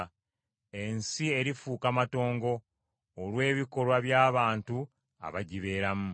Ensi erifuuka matongo, olw’ebikolwa by’abantu abagibeeramu.